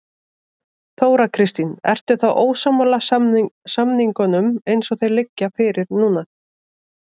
Þóra Kristín: Ertu þá ósammála samningunum eins og þeir liggja fyrir núna?